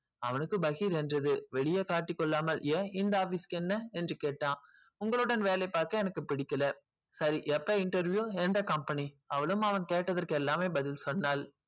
அவளுக்கு பாகில் என்று இருந்தது காட்டி கொள்ளாமல் ஏன் இந்த office க்கு என்ன உங்களுடன் வேலை பார்க்க எனக்கு புடிக்கல சரி எப்ப interview எந்த company அவளும் அவன் கேட்டதுக்கு பதில் சொன்னான்